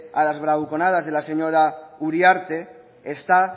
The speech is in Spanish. a las bravuconadas de la señora uriarte está